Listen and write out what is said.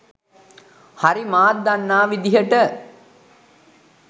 හරි මාත් දන්නා විදිහට.